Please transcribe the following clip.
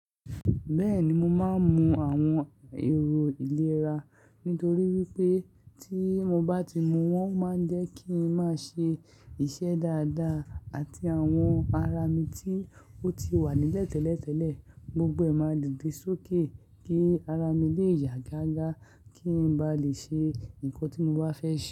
Bẹ́ẹ̀ni, mo máa ń mu àwọn èrò ìlera nítorí wípé tí mo bá ti mu wọ́n máa ń jẹ́ kí i máa ṣe iṣẹ́ dáadáa àti àwọn ara mi tí ó ti wà níle tẹ́lẹ̀tẹ́lẹ̀ gbogbo ẹ̀ máa dìde sókè kí ara mi lè yà gága kí n ba lè ṣe nǹkan tí mo bá fẹ́ ṣe.